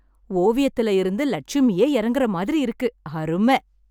ஓவியத்துல இருந்து லட்சுமியே இறங்கற மாதிரி இருக்கு! அரும!